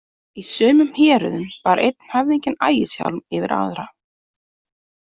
Í sumum héröðum bar einn höfðinginn ægishjálm yfir aðra.